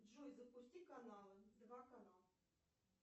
джой запусти каналы два канал